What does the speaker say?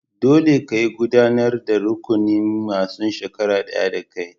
Dolle, ka yi gudanar da rukunin masun shekara daya da kai!